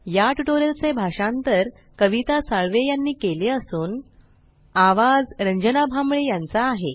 या ट्यूटोरियल चे भाषांतर कविता साळवे यांनी केले असून आवाज रंजना भांबळे यांचा आहे